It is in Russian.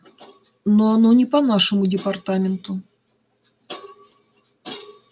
но оно не по нашему департаменту